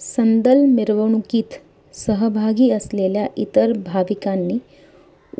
संदल मिरवणुकीत सहभागी असलेल्या इतर भाविकांनी